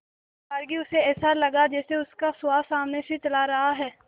एकबारगी उसे ऐसा लगा जैसे उसका सुहास सामने से चला रहा है